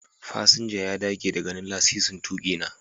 Fasinja ya dage da ganin lasisin tuki na.